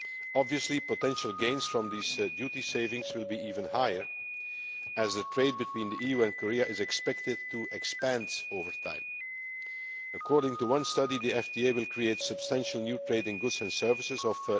Obviously, potential gains from these duty savings will be even higher, as trade between the EU and Korea is expected to expand over time. According to one study, the FTA will create substantial new trade in goods and services of